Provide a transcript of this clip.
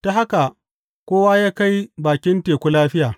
Ta haka kowa ya kai bakin teku lafiya.